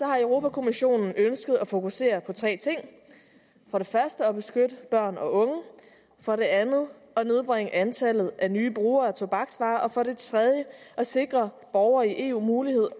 har europa kommissionen ønsket at fokusere på tre ting for det første at beskytte børn og unge for det andet at nedbringe antallet af nye brugere af tobaksvarer og for det tredje at sikre borgerne i eu mulighed